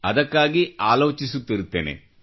ಅದಕ್ಕಾಗಿ ಆಲೋಚಿಸುತ್ತಿರುತ್ತೇನೆ